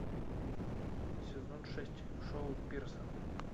сезон шесть шоу пирсон